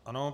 Ano.